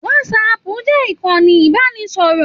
WhatsApp jẹ ìkànnì ibanisọrọ.